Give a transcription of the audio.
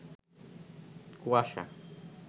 কুয়াশা